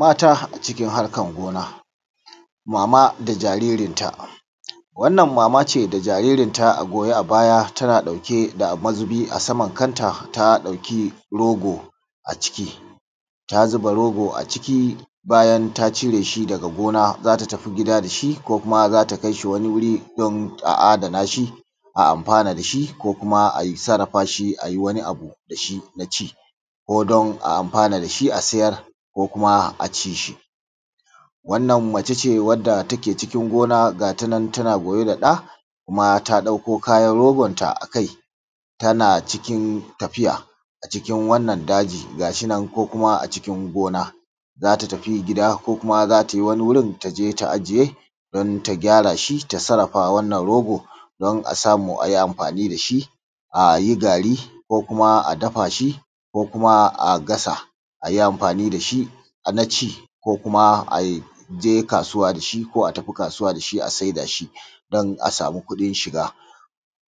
Mata a cikin harkan gona mama da jaririn ta, wannan mama ce da jaririnta a goye a baya tana ɗauke da mazubi a saman kanta, ta ɗauki rogo a ciki ta zuba rogo a ciki bayan ta cire shi daga gona zata tafi gida da shi ko kuma za ta kai shi wani wuri don a adana shi a amfana da shi ko kuma a sarrafa shi ayi wani abu da shi na ci ko don a amfana da shi a sayar ko kuma a ci shi, wannan mace ce wadda take cikin gona ga ta nan tana goye da ɗa kuma ta ɗauko kayan rogon ta a kai tana cikin tafiya a cikin wannan daji gashi nan ko kuma a cikin gona zata tafi gida ko kuma za tai wani wurin ta je ta ajiye don ta gyara shi ta sarrafa wannan rogo don a samu ayi amfani da shi ayi gari ko kuma a dafa shi ko kuma a gasa ayi amfani da shi na ci ko kuma aje kasuwa da shi ko a tafi kasuwa da shi a saida shi don a samu kuɗin shiga,,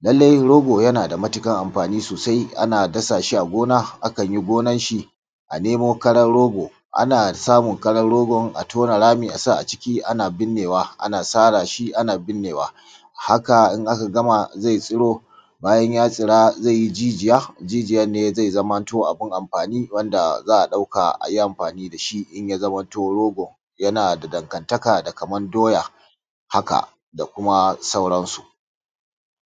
lallai rogo yana da matuƙar amfani sosai ana dasa shi a gona akan yi gonan shi a nemo karan rogo ana samun karan rogo a tona rami a sa a ciki ana birnewa ana sara shi ana birnewa haka in aka gama zai tsiro bayan ya tsira zai yi jijiya, jijiyan ne zai manta abun amfani wanda za`a ɗauka ayi amfani da shi in ya zamanto rogo yana da dangantaka da k aman doya haka da kuma sauransu.